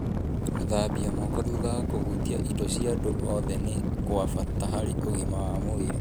Gũthambia moko thutha wa kũhutia indo cia andũ othe nĩ kwa bata harĩ ũgima wa mwĩrĩ